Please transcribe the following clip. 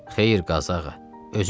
Xeyr, Qazı ağa, özüm eləyirəm.